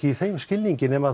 í þeim skilningi nema